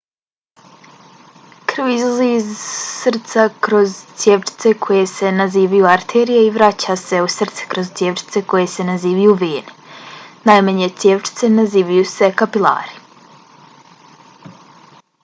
krv izlazi iz srca kroz cjevčice koje se nazivaju arterije i vraća se u srce kroz cjevčice koje se nazivaju vene. najmanje cjevčice nazivaju se kapilari